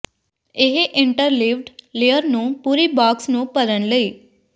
ਇਹ interleaved layer ਨੂੰ ਪੂਰੀ ਬਾਕਸ ਨੂੰ ਭਰਨ ਲਈ